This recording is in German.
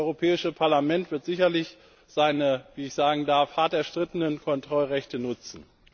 Das Europäische Parlament wird sicherlich seine wie ich sagen darf hart erstrittenen Kontrollrechte nutzen.